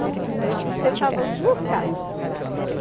Então eu sustentava as duas casas.